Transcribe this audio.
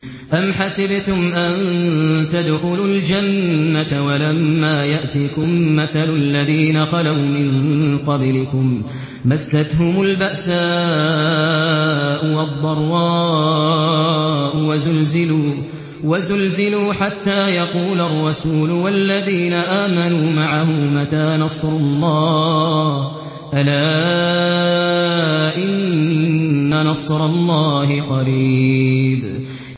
أَمْ حَسِبْتُمْ أَن تَدْخُلُوا الْجَنَّةَ وَلَمَّا يَأْتِكُم مَّثَلُ الَّذِينَ خَلَوْا مِن قَبْلِكُم ۖ مَّسَّتْهُمُ الْبَأْسَاءُ وَالضَّرَّاءُ وَزُلْزِلُوا حَتَّىٰ يَقُولَ الرَّسُولُ وَالَّذِينَ آمَنُوا مَعَهُ مَتَىٰ نَصْرُ اللَّهِ ۗ أَلَا إِنَّ نَصْرَ اللَّهِ قَرِيبٌ